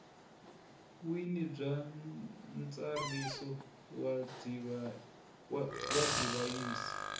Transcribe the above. wini bya ntsariso wa divhayisi